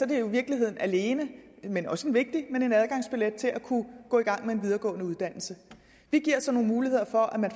det jo i virkeligheden alene men også vigtigt en adgangsbillet til at kunne gå i gang med en videregående uddannelse vi giver så nogle muligheder for at man